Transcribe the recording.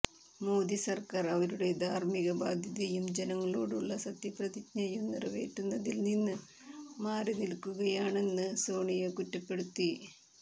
മോദി സർക്കാർ അവരുടെ ധാർമിക ബാധ്യതയും ജനങ്ങളോടുള്ള സത്യപ്രതിജ്ഞയും നിറവേറ്റുന്നതിൽനിന്ന് മാറിനിൽക്കുകയാണെന്ന് സോണിയ കുറ്റപ്പെടുത്തി